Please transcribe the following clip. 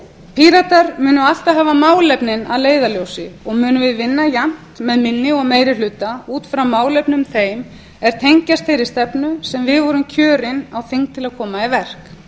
píratar munu alltaf hafa málefnin að leiðarljósi og munum við vinna jafnt með minni eða meiri hluta út frá málefnum þeim er tengjast þeirri stefnu sem við vorum kjörin á þing til að koma í verk